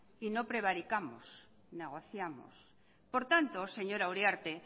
y no prevaricamos negociamos por tanto señora uriarte